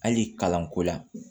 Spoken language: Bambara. Hali kalanko la